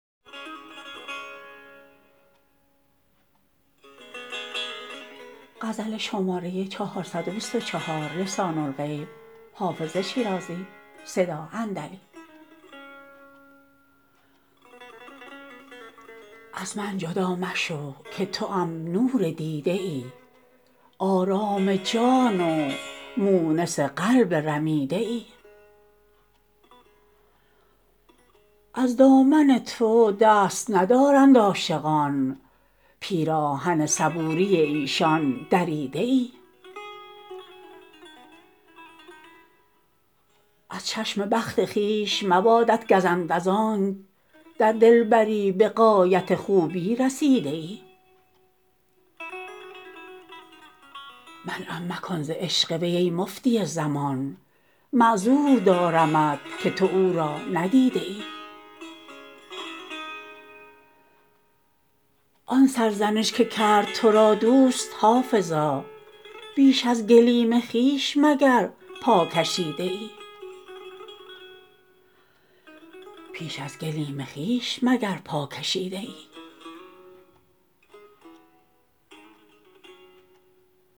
از من جدا مشو که توام نور دیده ای آرام جان و مونس قلب رمیده ای از دامن تو دست ندارند عاشقان پیراهن صبوری ایشان دریده ای از چشم بخت خویش مبادت گزند از آنک در دلبری به غایت خوبی رسیده ای منعم مکن ز عشق وی ای مفتی زمان معذور دارمت که تو او را ندیده ای آن سرزنش که کرد تو را دوست حافظا بیش از گلیم خویش مگر پا کشیده ای